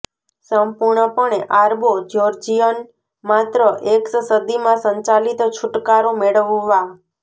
સંપૂર્ણપણે આરબો જ્યોર્જિયન માત્ર એક્સ સદીમાં સંચાલિત છૂટકારો મેળવવા